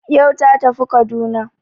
Yau ta tafi Kaduna